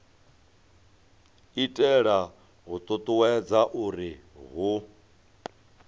itela u ṱuṱuwedza uri hu